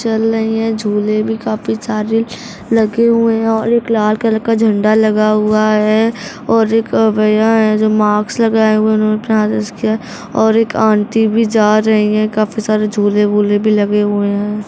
चल रहे हैं। झूले भी काफी सारे लगे हुए हैं और एक लाल कलर झंडा लगा हुआ है और एक भैया है जो मास्क लगाए हुए है उन्होंने और एक आंटी भी जा रही है काफी सारे झूले-वुले भी लगे हुए हैं।